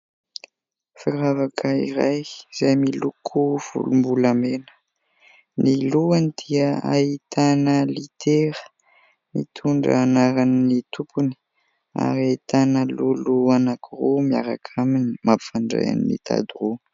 Firavaka iray izay miloko volom-bolamena. Ny lohany dia ahitana litera mitondra ny anaran'ny tompony ary ahitana lolo anankiroa miaraka aminy mampifandray ny tady roa.